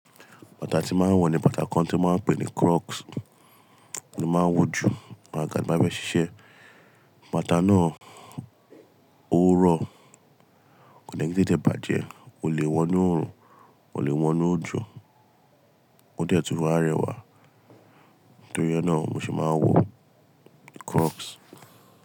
Bàtà tí máa ń wọ̀ ni bàtà kan tí wọ́n pè ní crocs, tí máa ń wọ̀ jù nígbà tí a bá fẹ́ ṣiṣẹ́. Bàtà náà ó rọ̀, kò den tete bàjẹ́, o lè wọ̀ ní òòrùn, o lè wọ̀ ní òòjọ́, ó detun wa rẹwà. Nítorí náà mo sì máa ń wọ crocs.